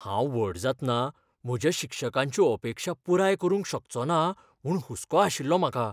हांव व्हड जातना म्हज्या शिक्षकांच्यो अपेक्षा पुराय करूंक शकचोना म्हूण हुसको आशिल्लो म्हाका.